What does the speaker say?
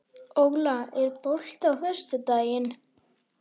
Óla, er bolti á föstudaginn?